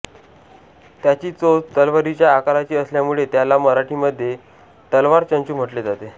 त्याची चोच तलवारीच्या आकाराची असल्यामुळे त्याला मराठीमध्ये तलवारचंचू म्हटले जाते